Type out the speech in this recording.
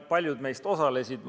Paljud meist osalesid.